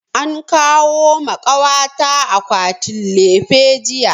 An kawo ma kawa ta akwatin lefe jiya